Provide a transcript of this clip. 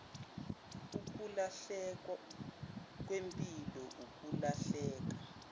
ukulahleka kwempilo ukulahleka